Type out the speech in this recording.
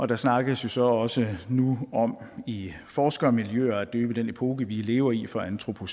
der snakkes jo så også nu om i forskermiljøer at døbe den epoke vi lever i for antropocæn